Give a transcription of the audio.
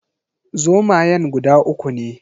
Zomayan guda uku ne